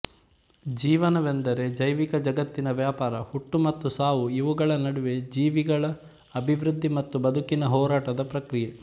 ಜೀವನವೆಂದರೆ ಜೈವಿಕ ಜಗತ್ತಿನ ವ್ಯಾಪಾರ ಹುಟ್ಟು ಮತ್ತು ಸಾವು ಇವುಗಳ ನಡುವೆ ಜೀವಿಗಳ ಅಭಿವೃಧ್ಧಿ ಮತ್ತು ಬದುಕಿನ ಹೋರಾಟದ ಪ್ರಕ್ರಿಯೆ